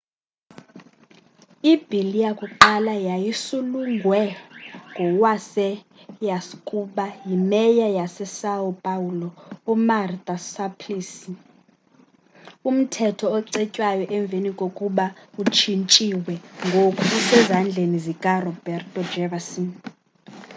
ibill yakuqala yayisulungwe ngowayeaskuba yi mayor yasesão paulo umarta suplicy. umthetho ocetywayo emveni kokuba utshintshiwe ngoku usezzandleni zikaroberto jefferson